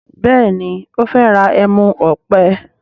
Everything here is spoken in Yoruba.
Béèni o fè rà ẹmu òpè.